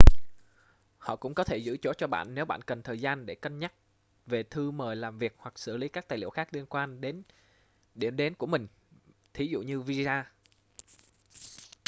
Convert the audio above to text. họ cũng có thể giữ chỗ cho bạn nếu bạn cần thời gian để cân nhắc về thư mời làm việc hoặc xử lý các tài liệu khác liên quan đến điểm đến của mình thí dụ như visa